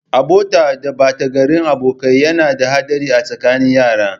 Abota da batagarin abokai yana da haɗari a tsakanin yara.